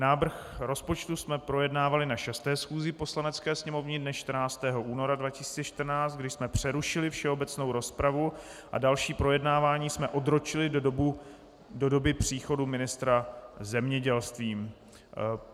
Návrh rozpočtu jsme projednávali na 6. schůzi Poslanecké sněmovny dne 14. února 2014, kdy jsme přerušili všeobecnou rozpravu a další projednávání jsme odročili do doby příchodu ministra zemědělství.